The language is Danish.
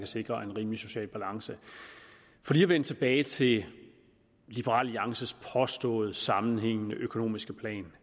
sikre en rimelig social balance for lige at vende tilbage til liberal alliances påståede sammenhængende økonomiske plan